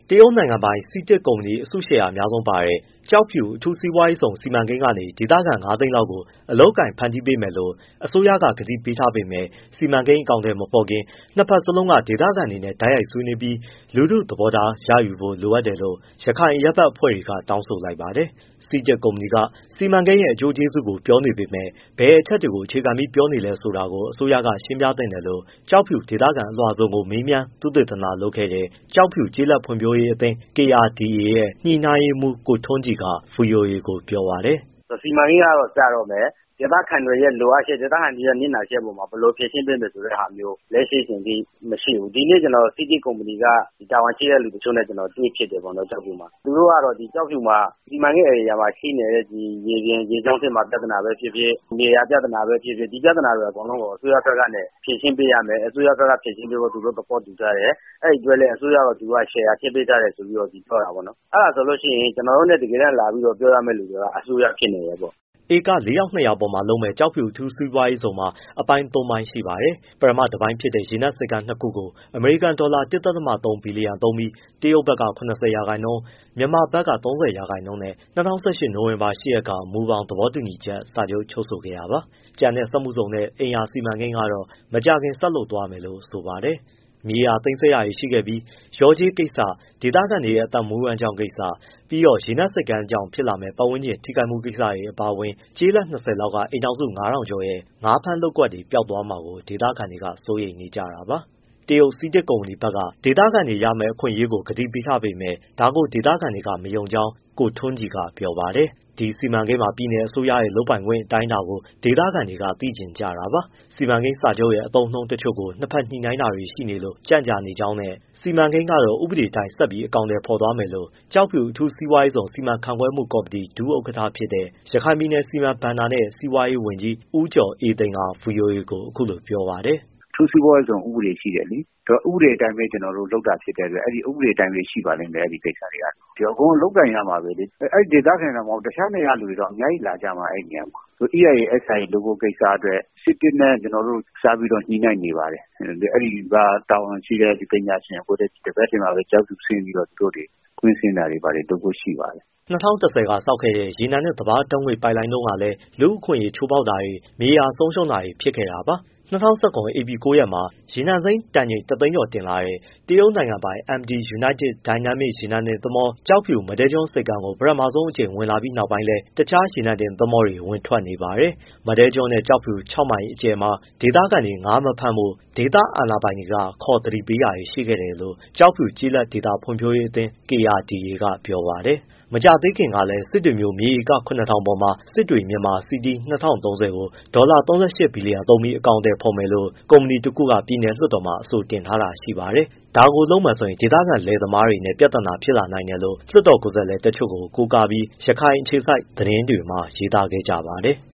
တရုတ်နိုင်ငံပိုင် CITIC ကုမ္ပဏီ အစုရှယ်ယာ အများဆုံးပါတဲ့ ကျောက်ဖြူ အထူးစီးပွားရေးဇုန်စီမံကိန်းကနေ ဒေသခံ ငါးသိန်းလောက်ကို အလုပ်အကိုင် ဖန်တီးပေးမယ်လို့ အစိုးရက ကတိပေးထားပေမဲ့ စီမံကိန်း အကောင်အထည်မဖော်ခင် နှစ်ဘက်စလုံးက ဒေသခံတွေနဲ့ တိုက်ရိုက်ဆွေးနွေးပြီး လူထုသဘောထားရယူဖို့ လိုတယ်လို့ ရခိုင်အရပ်ဘက်အဖွဲ့တွေက တောင်းဆိုလိုက်ပါတယ်။ CITIC ကုမ္ပဏီက စီမံကိန်းရဲ့ အကျိုးကျေးဇူးကို ပြောနေပေမဲ့ ဘယ်အချက်တွေကို အခြေခံပြီး ပြောနေတာလဲဆိုတာကို အစိုးရကလည်း ရှင်းပြသင့်တယ်လို့ ကျောက်ဖြူဒေသခံအလွှာစုံကို မေးမြန်းသုတေသနလုပ်ခဲ့တဲ့ ကျောက်ဖြူ ကျေးလက်ဖွံ့ဖြိုးရေးအသင်း KRDA ရဲ့ ညှိနှိုင်းရေးမှူး ကိုထွန်းကြည်က ဗွီအိုအေကို ပြောပါတယ်။ “စီမံကိန်းကတော့ စတော့မယ်။ ဒေသခံတွေရဲ့ လိုအပ်ချက် နစ်နာချက်အပေါ်မှာ ဘယ်လိုဖြေရှင်းပေးမယ်ဆိုတဲ့ဟာမျိုး လက်ရှိအချိန်အထိ မရှိဘူး။ ဒီနေ့ကျနော် CITIC ကုမ္ပဏီက တာဝန်ရှိတဲ့ သူတချို့နဲ့ တွေ့ဖြစ်တယ် ကျောက်ဖြူမှာ။ သူတို့ကတော့ ဒီကျောက်ဖြူမှာ စီမံကိန်းဧရိယာမှာ ရှိနေတဲ့ ရေကြောင်း ပြဿနာပဲဖြစ်ဖြစ်၊ မြေယာပြဿနာပဲဖြစ်ဖြစ် ဒီပြဿနာအကုန်လုံးကို အစိုးရက ဖြေရှင်းပေးရမယ်။ အစိုးရဘက်က ဖြေရှင်းပေးဖို့ သဘောတူထားတယ်။ အဲဒီအတွက်လည်း အစိုးရကို သူတို့ရှယ်ယာ ထည့်ပေးထားတယ်ဆိုပြီး ပြောတယ်။ အဲဒါဆိုကျနော်တို့နဲ့ တကယ်တမ်းလာပြီး ပြောရမယ့်သူက အစိုးရဖြစ်နေတယ်။” ဧက ၄၂၀၀ ပေါ်မှာ လုပ်မယ့် ကျောက်ဖြူအထူးစီးပွားရေးဇုန်မှာ အပိုင်း သုံး ပိုင်း ရှိပါတယ်။ ပထမတပိုင်းဖြစ်တဲ့ ရေနက်ဆိပ်ကမ်း နှစ်ခု ကို အမေရိကန်ဒေါ်လာ ၁.၃ ဘီလျံ သုံးပြီး တရုတ်ဘက်က ၇၀ ရာခိုင်နှုန်း မြန်မာဘက်က ၃၀ ရာခိုင်နှုန်းနဲ့ ၂၀၁၈ နိုဝင်ဘာ ၈ ရက်က မူဘောင်သဘောတူ စာချုပ်ချုပ်ခဲ့တာပါ။ ကျန်တဲ့ စက်မှုဇုန်နဲ့ အိမ်ရာစီမံကိန်းကတော့မကြာခင် ဆက်လုပ်သွားမယ်လို့ ဆိုပါတယ်။ မြေသိမ်းဆည်းတာတွေ ရှိခဲ့ပြီး လျှော်ကြေးကိစ္စ၊ ဒေသခံတွေ အသက်မွေး ဝမ်းကြောင်းကိစ္စ၊ ပြီးတော့ရေနက်ဆိပ်ကမ်းကြောင့် ဖြစ်လာမယ့် ပတ်ဝန်းကျင် ထိခိုက်မှုကိစ္စတွေအပါအဝင် ကျေးရွာ ၂၀ လောက်က အိမ်ထောင်က ၅,၀၀၀ ကျော်ရဲ့ ငါးဖမ်းကွက်တွေ ပျောက်သွားမှာ ဒေသခံတွေက စိုးရိမ်နေကြတာပါ။ တရုတ် CITIC ကုမ္ပဏီဘက်ကလည်း ဒေသခံတွေရမယ့် အခွင့်အရေးတွေကို ကတိပေးထားပေမဲ့ ဒါကို ဒေသခံတွေက မယုံကြောင်း ကိုထွန်းကြည်က ပြောပါတယ်။ ဒီစီမံကိန်းမှာ ပြည်နယ်အစိုးရရဲ့ လုပ်ပိုင်ခွင့်အတိုင်းအတာကို ဒေသခံတွေက သိချင်ကြတာပါ။ စီမံကိန်းစာချုပ်ရဲ့ အသုံးအနှုန်းတချို့ နှစ်ဘက်ညှိနှိုင်းနေတာတွေရှိလို့ ကြန့်ကြာနေကြောင်းနဲ့ စီမံကိန်းကတော့ ဥပဒေအတိုင်းပဲ ဆက်အကောင်အထည် ဖော်သွားမယ်လို့ ကျောက်ဖြူ အထူးစီးပွားရေးဇုန် စီမံခန့်ခွဲမှုကော်မတီ ဒုဥက္ကဋ္ဌဖြစ်တဲ့ ရခိုင်ပြည်နယ် ဘဏ္ဍာစီမံနဲ့ စီးပွားရေးဝန်ကြီး ဦးကျော်အေးသိန်းက ဗွီအိုအေကို အခုလို ပြောပါတယ်။ “အထူးစီးပွားရေး ဇုန်ဥပဒေရှိတယ်လေ ဥပဒေအတိုင်းပဲ ကျနော်တို့ လုပ်တာဖြစ်တဲ့အတွက် ဒီဥပဒေအတိုင်းပဲ ရှိပါလိမ့်မယ် အဲဒီကိစ္စက။ အကုန် အလုပ်အကိုင် ရမှာပဲလေ အဲဒီဒေသခံမှမဟုတ်ဘူး တခြားနေရာက လူတွေတောင်အများကြီး လာကြမှာ အဲဒီနေရာမှာ။ EIA/SIAလုပ်ဖို့ကိစ္စအတွက် CITIC နဲ့ ကျနော်တို့ ဆက်ပြီး ညှိနှိုင်းနေပါတယ်။ အဲဒီကတာဝန်ရှိတဲ့ပညာရှင်တွေနဲ့ ဒီဘက်မှာ ကျောက်ဖြူဆင်းပြီး ကွင်းဆင်းတာတွေ လုပ်ဖို့ရှိပါတယ်။” ၂၀၁၀ က ဆောက်ခဲ့တဲ့ရေနံနဲ့ ဓာတ်ငွေ့ပိုက်လိုင်းတုန်းကလည်း လူ့အခွင့်အရေးချိုးဖောက်တာတွေ၊ မြေယာဆုံးရှုံးတာတွေ ဖြစ်ခဲ့တာပါ။ ၂၀၁၇ ဧပြီ ၉ ရက်မှာ ရေနံစိမ်းတန်ချိန် ၁ သိန်းကျော် တင်လာတဲ့ တရုတ်ပိုင် MT UNITED DYNAMIC ရေနံတင်သင်္ဘော ကျောက်ဖြူ၊ မဒဲ ကျွန်းဆိပ်ကမ်းကို ပထမဆုံး ဝင်လာပြီး နောက်ပိုင်းလည်း တခြားရေနံတင်သင်္ဘောတွေ ဝင်ထွက်နေပါတယ်။ မဒဲကျွန်းနဲ့ ကျောက်ဖြူ ၆ မိုင်အကျယ်မှာ ဒေသခံတွေ ငါးမဖမ်းဖို့ ဒေသ အာဏာပိုင်တွေက ခေါ်သတိပေးခဲ့တယ်လို့ ကျောက်ဖြူကျေးလက်ဒေသ ဖွံ့ဖြိုးရေးအသင်း KRDA က ပြောပါတယ်။ မကြာသေးခင်ကလည်း စစ်တွေမြို့ မြေဧက ၇၀၀၀ ပေါ်မှာ Sittwe Myanmar City 2030 ကို ဒေါ်လာ ၃၈ ဘီလျံ သုံးပြီး အကောင်အထည် ဖော်ဖို့ ကုမ္ပဏီတခုက ပြည်နယ်လွှတ်တော်မှာ အဆိုပြုထားတာလည်း ရှိပါတယ်။ ဒါကိုလုပ်မယ်ဆိုရင် ဒေသခံလယ်သမားတွေနဲ့ ပြဿနာ ဖြစ်လာနိုင်တယ်လို့ လွှတ်တော်ကိုယ်စားလှယ်တချို့ကို ကိုးကားပြီး ရခိုင်အခြေစိုက်သတင်းတွေက ရေးသားခဲ့ကြပါတယ်။